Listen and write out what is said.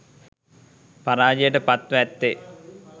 පරාජයට පත්ව ඇත්තේ